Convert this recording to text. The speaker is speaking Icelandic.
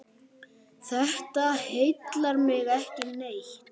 Þetta heillar mig ekki neitt.